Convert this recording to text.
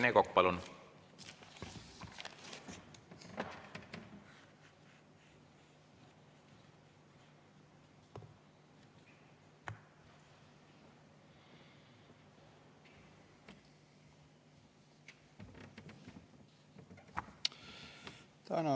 Rene Kokk, palun!